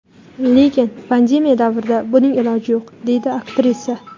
Lekin pandemiya davrida buning iloji yo‘q”, − deydi aktrisa.